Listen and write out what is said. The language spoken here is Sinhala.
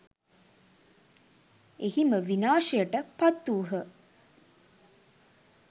එහිම විනාශයට පත්වූහ.